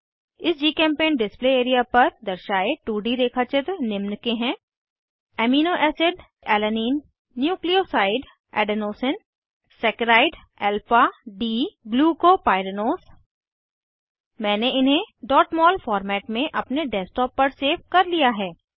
इस GChemPaint display area पर दर्शाये 2डी रेखाचित्र निम्न के हैं amino acid Alanine nucleoside Adenosine saccharide Alpha D glucopyranose मैंने इन्हें mol फॉर्मेट में अपने डेस्कटॉप पर सेव कर लिया है